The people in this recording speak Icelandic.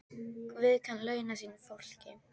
Guð kann að launa sínu fólki.